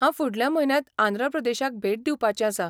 हांव फुडल्या म्हयन्याक आंध्र प्रदेशाक भेट दिवपाचें आसां.